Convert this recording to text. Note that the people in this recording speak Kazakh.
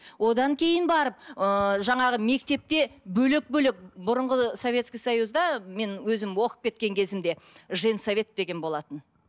одан кейін барып ыыы жаңағы мектепте бөлек бөлек бұрынғы советский союзда мен өзім оқып кеткен кезімде женсовет деген болатын